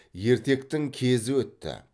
ертектің кезі өтті